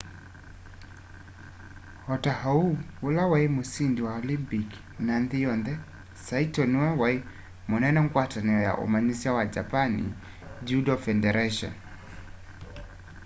ota oũ ũla waĩ mũsĩndĩ wa olympik na nthĩ yonthe saĩto nĩwe waĩ mũnene ngwatanĩo ya ũmanyĩsya wa japan judo fedaratĩon